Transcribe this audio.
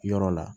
Yɔrɔ la